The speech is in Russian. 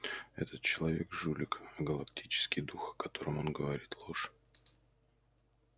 этот человек жулик а галактический дух о котором он говорит ложь